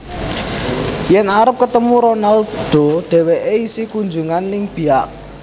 Yen arep ketemu Ronaldo dheweke isih kunjungan ning Biak